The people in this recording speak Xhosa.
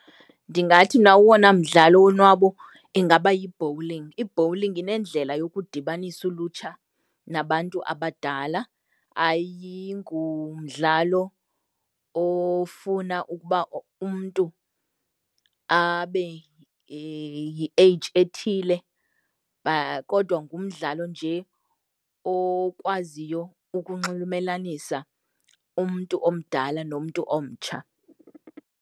Ndingathi mna owona mdlalo wonwabo ingaba yi-bowling. I-bowling inendlela yokudibanisa ulutsha nabantu abadala, ayingumdlalo ofuna ukuba umntu abe yi-age ethile kodwa ngumdlalo nje okwaziyo ukunxulumelanisa umntu omdala nomntu omtsha.